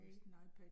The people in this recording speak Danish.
Ik